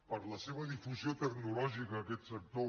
per la seva difusió tecnològica aquest sector